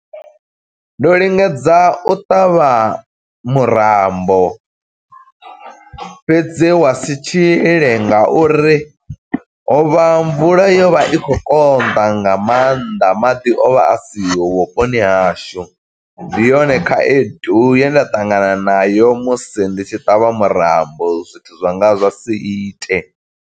Ndo lingedza u ṱavha murambo, fhedzi wa si tshile nga uri hovha mvula yo vha i khou konḓa, nga maanḓa. Maḓi o vha a siho vhuponi hashu, ndi yone khaedu ye nda ṱangana nayo musi ndi tshi ṱavha murambo, zwithu zwanga zwa si ite.